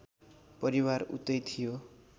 परिवार उतै थियो